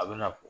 A bɛna fɔ